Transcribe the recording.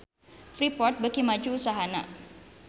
Freeport beuki maju usahana